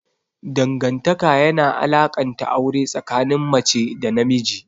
Dangantaka yana alakanta aure tsakanin mace da namiji.